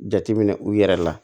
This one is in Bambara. Jateminɛ u yɛrɛ la